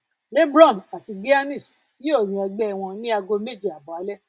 lebron àti giannis yóò yan ẹgbẹ wọn ní ago méje abọ alẹ